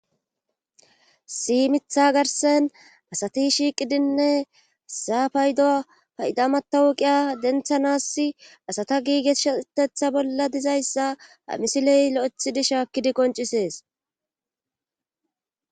Issi mitha garsen asati shiiqidinne saapaydo paydamatawuqiya denthanassi asata giigesshtetha bolla dizayssa amisiley lo'ethidi shaakkidi qoncisees.